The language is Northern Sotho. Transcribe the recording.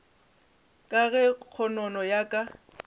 ka ge kgonono ya ka